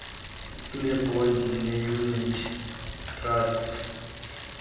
ngeebhondi neeyunithi trasti